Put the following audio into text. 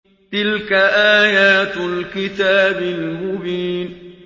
تِلْكَ آيَاتُ الْكِتَابِ الْمُبِينِ